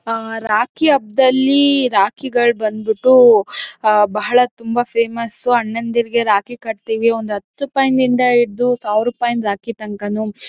ಹಾ ರಾಖಿ ಹಬ್ಬದಲ್ಲಿ ರಾಖಿಗಳ್ ಬಂದ್ಬಿಟು ಹ ಬಹಳ ತುಂಬಾ ಫೇಮಸ್ಸು ಅಣ್ಣನ್ದೀರಿಗೆ ರಾಖಿ ಕಟ್ತೀವಿ ಒಂದ್ ಹತ್ ರೂಪಾಯಿನಿಂದ ಇದ್ದು ಸಾವಿರ ರೂಪಾಯಿ ರಾಖಿ ತಂಕಾನು.